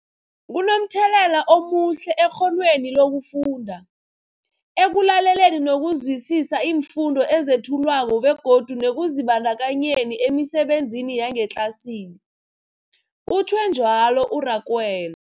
Kunomthelela omuhle ekghonweni lokufunda, ekulaleleni nokuzwisiswa iimfundo ezethulwako begodu nekuzibandakanyeni emisebenzini yangetlasini, utjhwe njalo u-Rakwena.